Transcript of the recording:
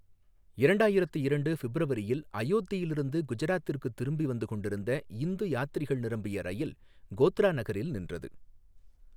இரண்டாயிரத்து இரண்டு ஃபிப்ரவரியில் அயோத்தியிலிருந்து குஜராத்திற்குத் திரும்பிவந்து கொண்டிருந்த இந்து யாத்திரிகள் நிரம்பிய ரயில் கோத்ரா நகரில் நின்றது.